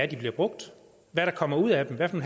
de bliver brugt hvad der kommer ud af dem hvad for